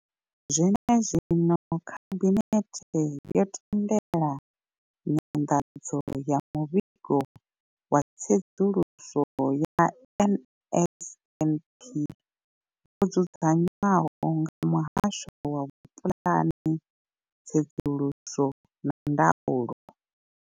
Zwenezwino, khabinethe yo tendela nyanḓadzo ya muvhigo wa tsedzuluso ya NSNP wo dzudzanywaho nga muhasho wa vhupulani, tsedzuluso na ndaulo.